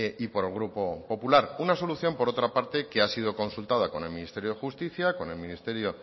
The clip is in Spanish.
y por el grupo popular una solución por otra parte que ha sido consultada con el ministerio de justicia con el ministerio